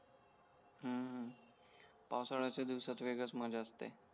हम्म पावसाळ्यच्या दिवसात वेगळाच मझ्या असते